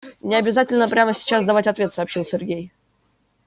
не обязательно прямо сейчас давать ответ сообщил сергей